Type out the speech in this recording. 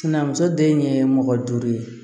Sinanmuso den ye mɔgɔ duuru ye